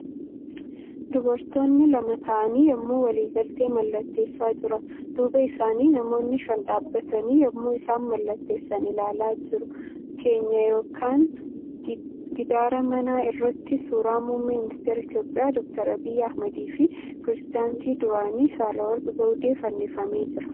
Dubartoonni lama taa'anii yemmuu waliigaltee mallatteessaa jiran . Duuba isaanitti namoonni shan dhaabbatanii yemmuu isaan mallatteessan ilaalaa jiru. keenyaa yookan giddaara manaa irratti suurri muummee ministira Itiyoophiyaa Dooktar Abiyyi Ahmadiifi pireezidaantii duraanii Saahilawarqi Zawudee fannifamee jira.